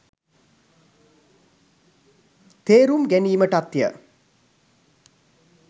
තේරුම් ගැනීමටත්ය.